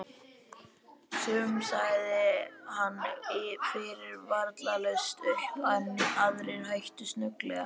Sumum sagði hann fyrirvaralaust upp en aðrir hættu snögglega.